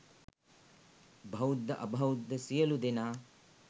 බෞද්ධ අබෞද්ධ සියලු දෙනා